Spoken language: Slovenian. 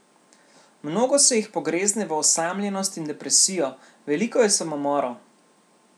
Mnogo se jih pogrezne v osamljenost in depresijo, veliko je samomorov.